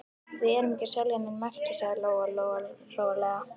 Við erum ekki að selja nein merki, sagði Lóa Lóa rólega.